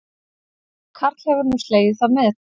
Karl hefur nú slegið það met